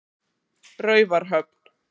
Raufarhöfn